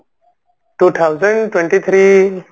two thousand twenty three